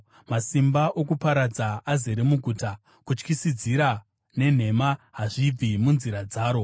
Masimba okuparadza azere muguta; kutyisidzira nenhema hazvibvi munzira dzaro.